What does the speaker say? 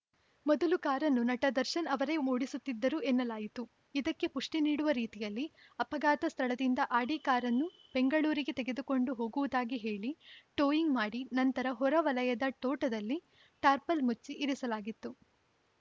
ಮೊದಲು ಕಾರನ್ನು ನಟ ದರ್ಶನ್‌ ಅವರೇ ಓಡಿಸುತ್ತಿದ್ದರು ಎನ್ನಲಾಯಿತು ಇದಕ್ಕೆ ಪುಷ್ಟಿನೀಡುವ ರೀತಿಯಲ್ಲಿ ಅಪಘಾತ ಸ್ಥಳದಿಂದ ಆಡಿ ಕಾರನ್ನು ಬೆಂಗಳೂರಿಗೆ ತೆಗೆದುಕೊಂಡು ಹೋಗುವುದಾಗಿ ಹೇಳಿ ಟೋಯಿಂಗ್‌ ಮಾಡಿ ನಂತರ ಹೊರ ವಲಯದ ತೋಟದಲ್ಲಿ ಟಾರ್ಪಲ್‌ ಮುಚ್ಚಿ ಇರಿಸಲಾಗಿತ್ತು